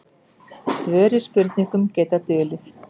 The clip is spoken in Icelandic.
Svör við spurningum geta dulið.